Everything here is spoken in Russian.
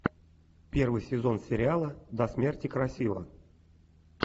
первый сезон сериала до смерти красива